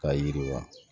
K'a yiriwa